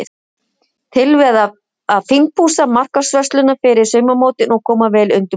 Tilvalið að fínpússa markvörsluna fyrir sumarmótin og koma vel undirbúin.